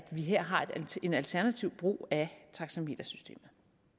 vi her har en alternativ brug af taxametersystemet